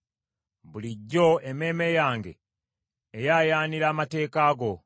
Bulijjo emmeeme yange eyaayaanira amateeka go.